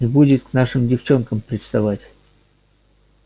не будет к нашим девчонкам приставать